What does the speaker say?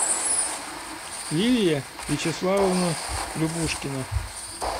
лилия вячеславовна любушкина